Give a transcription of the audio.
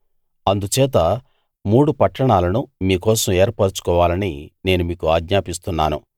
అందుచేత మూడు పట్టణాలను మీ కోసం ఏర్పరచుకోవాలని నేను మీకు ఆజ్ఞాపిస్తున్నాను